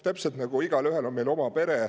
Täpselt nagu meil igaühel on oma pere.